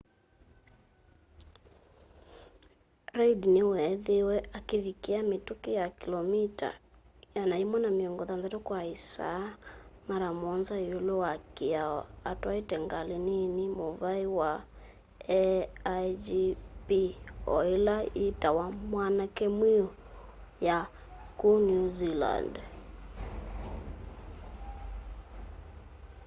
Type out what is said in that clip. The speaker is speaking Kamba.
reid niweethiiwe akivikia mituki ya kilomita 160 kwa isaa mara muonza iulu wa kiao atwaite ngali nini muvai wa aigp o ila ingi yitawa wanake mwiu ya ku new zealand